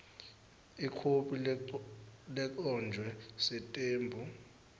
ikhophi legcotjwe sitembu